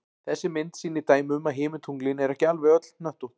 Þessi mynd sýnir dæmi um að himintunglin eru ekki alveg öll hnöttótt.